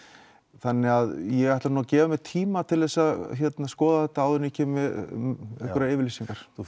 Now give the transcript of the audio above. þannig að ég ætla að gefa mér tíma til að skoða þetta áður en ég gef einhverjar yfirlýsingar þú